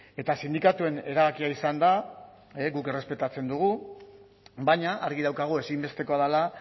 eta sindikatuen erabakia izan da guk errespetatzen dugu baina argi daukagu ezinbestekoa dela